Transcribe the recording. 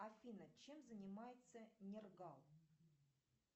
афина чем занимается нергал